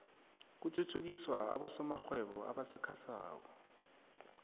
kuthuthukiswa abosomarhwebo abasakhasako